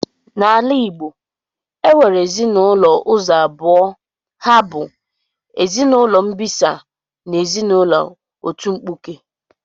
Na ala Igbo e nwere ezinụlọ ụzọ abụọ ha bu ezinụlọ mbisa na ezinụlọ otu mkpụke